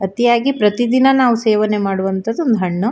ಅತಿಯಾಗಿ ಪ್ರತಿದಿನ ನಾವು ಸೇವನೆ ಮಾಡುವಂತದ್ದು ಹಣ್ಣು.